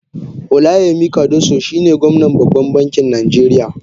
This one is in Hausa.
Olayemi cardoso shine gwamnan babban bankin najeriya.